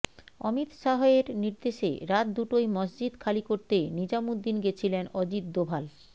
অমিত শাহ এর নির্দেশে রাত দুটোয় মসজিদ খালি করতে নিজামুদ্দিন গেছিলেন অজিত দোভাল